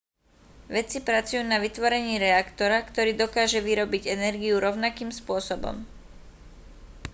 vedci pracujú na vytvorení reaktora ktorý dokáže vyrobiť energiu rovnakým spôsobom